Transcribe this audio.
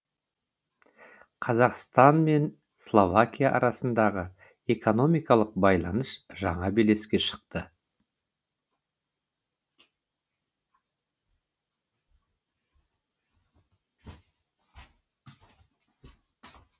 қазақстан мен словакия арасындағы экономикалық байланыс жаңа белеске шықты